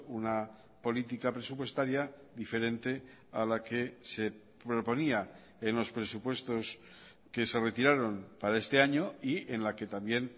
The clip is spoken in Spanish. una política presupuestaria diferente a la que se proponía en los presupuestos que se retiraron para este año y en la que también